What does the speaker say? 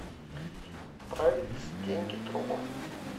отправить деньги другу